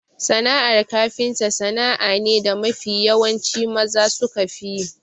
Sana'ar kafinta sana'a ne da mafi yawanci maza sukafi yi.